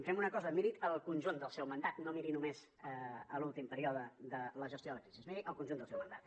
fem una cosa miri el conjunt del seu mandat no miri només l’últim període de la gestió de la crisi miri el conjunt del seu mandat